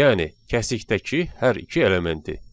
yəni kəsikdəki hər iki elementi.